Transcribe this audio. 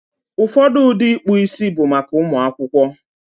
Ụfọdụ ụdị ịkpụ isi bụ maka ụmụ akwụkwọ.